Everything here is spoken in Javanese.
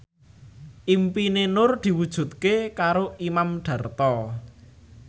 impine Nur diwujudke karo Imam Darto